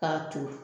K'a turu